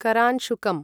करांशुकम्